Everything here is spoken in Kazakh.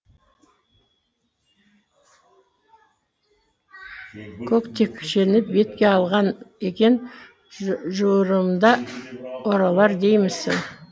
көктекшені бетке алған екен жуырымда оралар деймісің